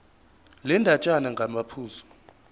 le ndatshana ngamaphuzu